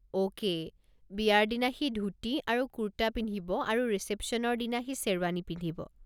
Okay, বিয়াৰ দিনা সি ধূতি আৰু কুৰ্টা পিন্ধিব আৰু ৰিচেপশ্যনৰ দিনা সি শ্বেৰৱানী পিন্ধিব।